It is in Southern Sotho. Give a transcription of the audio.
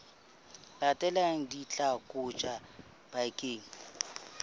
latelang di tla kotjwa bakeng